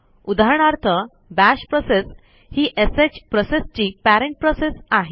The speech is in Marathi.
उदाहरणार्थ बाश प्रोसेस ही श प्रोसेसची पेरेंट प्रोसेस आहे